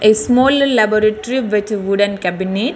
Small laboratory with wooden cabinet.